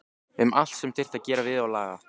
Um allt sem þyrfti að gera við og laga.